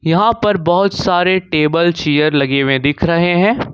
यहां पर बहोत सारे टेबल चेयर लगे हुए दिख रहे हैं।